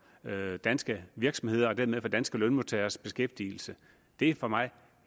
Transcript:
danske virksomheder og dermed for danske lønmodtageres beskæftigelse det er for mig